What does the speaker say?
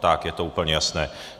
Tak je to úplně jasné.